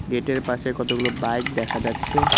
গেটের পাশে কতগুলো বাইক দেখা যাচ্ছে।